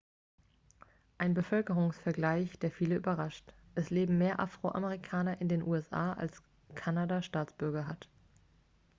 ein bevölkerungsvergleich der viele überrascht es leben mehr afroamerikaner in den usa als kanada staatsbürger hat